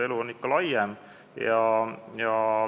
Elu on ikka laiem.